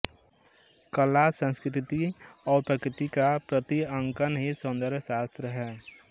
कला संस्कृति और प्रकृति का प्रतिअंकन ही सौंदर्यशास्त्र है